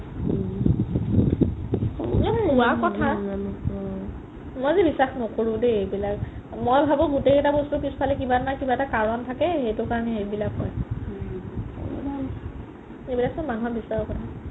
মই যে বিশ্বাস নকৰো দেই এইবিলাক মই ভাবো গুতেই কেইতা বস্তু ফালে কিবা এটা নহয় কিবা এটা কাৰণ থকেই হেতু কাৰনে এইবিলাক হয় এইবিলাকটো মানুহৰ বিশ্বাসৰ কথা